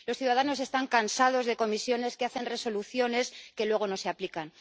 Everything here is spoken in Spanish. Los ciudadanos están cansados de comisiones que hacen resoluciones que luego no se aplican.